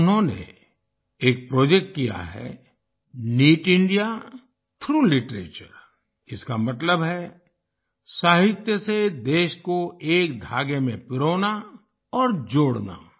उन्होंने एक प्रोजेक्ट किया है नित इंडिया थ्राउघ लिटरेचर इसका मतलब है साहित्य से देश को एक धागे में पिरोना और जोड़ना